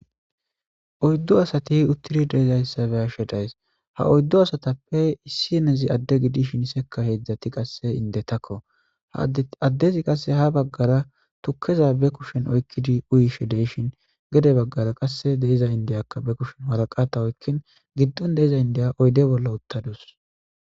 Oyddu asati utidi de'izayssa beyashshe dayiss ha oyddu asatappe issinezi ade gidishin seka hezdzdat qase indetakko adezi qase ha bagara tukeza ba kushshen oykkid uyishshe deyishin gede bagara qase de'iza indiya be kushshen waraqata oykidi gidon diza indiya oyde bolla utadus